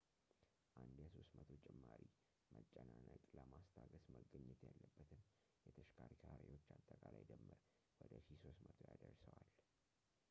አንድ የ300 ጭማሪ መጨናነቅ ለማስታገስ መገኘት ያለበትን የተሸከርካሪዎች አጠቃላይ ድምር ወደ 1,300 ያደርሰዋል